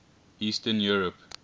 eastern europe